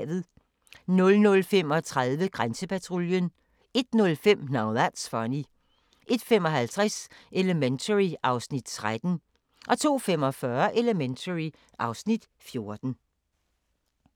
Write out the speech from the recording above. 00:35: Grænsepatruljen 01:05: Now That's Funny 01:55: Elementary (Afs. 13) 02:45: Elementary (Afs. 14)